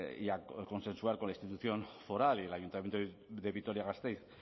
y a consensuar con la institución foral y el ayuntamiento de vitoria gasteiz